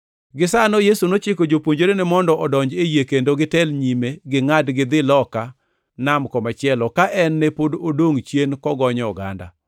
Gisano Yesu nochiko jopuonjrene mondo odonji e yie kendo gitel nyime gingʼad gidhi loka nam komachielo, ka en to ne pod odongʼ chien kogonyo oganda.